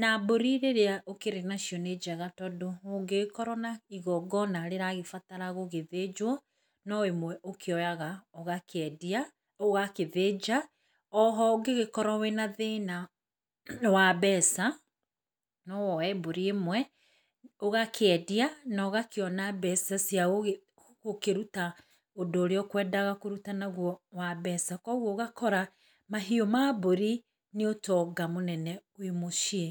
na mbũri rĩrĩa ũkĩrĩ nacio nĩ njega tondũ, ũngĩgĩkorwo na igongona rĩragĩbatara gũgĩthĩnjwo no ĩmwe ũkĩoyaga ũgakĩendia, ũgagĩthĩnja, oho ũngĩgĩkorwo wĩna thĩna wa mbeca, nowoye mbũri ĩmwe, ũgakĩendia, nogakĩona mbeca cia gũgĩ gũkĩruta ũndũ ũrĩa ũkwendaga kũruta naguo wa mbeca, kwoguo ũgakora, mahiũ ma mbũri, nĩ ũtonga mũnene wĩ mũciĩ.